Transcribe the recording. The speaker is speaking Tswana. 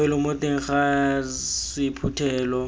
bofelo mo teng ga sephuthelo